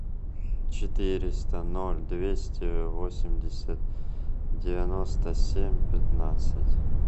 четыреста ноль двести восемьдесят девяносто семь пятнадцать